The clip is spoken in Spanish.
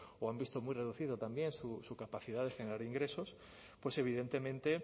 o han visto muy reducido también su capacidad de generar ingresos pues evidentemente